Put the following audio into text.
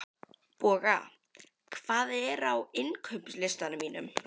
Boga, hvað er á innkaupalistanum mínum?